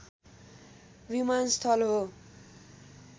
विमानस्थल हो